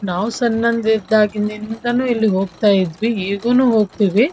ನಾವ್ ಸಣ್ಣಗಿದ್ ದಿಂದಾಗಿನು ಹೋಗ್ತಾ ಇದ್ವಿ ಈಗೇನು ಹೋಗ್ತಿವಿ.